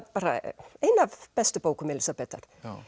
ein af bestu bókum Elísabetar